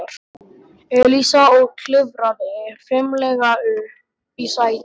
Elísa og klifraði fimlega upp í sætið.